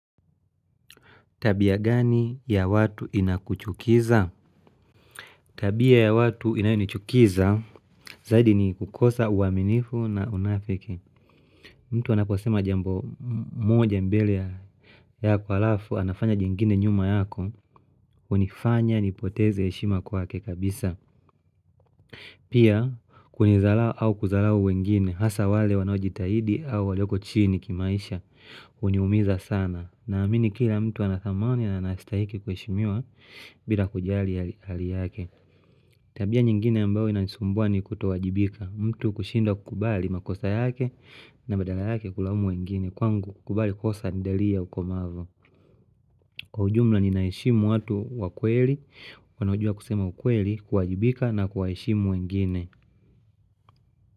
Tabia gani ya watu inakuchukiza? Tabia ya watu inayunichukiza, zaidi ni kukosa uaminifu na unafiki. Mtu anaposema jambo moja mbele yako alafu, anafanya jingine nyuma yako, unifanya nipoteze heshima kwakekabisa. Pia, kunidharau au kudharau wengine, hasa wale wanajitahidi au walioko chini kimaisha, uniumiza sana. Na amini kila mtu anathamani na anastahiki kuhishimua bila kujali hali yake. Tabia nyingine ambao inanisumbua ni kutowajibika. Mtu kushinda kukubali makosa yake na badala yake kulaumu wengine. Kwangu kukubali kosa ni dalili ya ukomavu. Kwa ujumla ninaishimu watu wakweli, wanaujua kusema ukweli, kuwajibika na kuwaheshimu wengine.